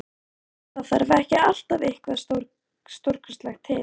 Og munum að það þarf ekki alltaf eitthvað stórkostlegt til.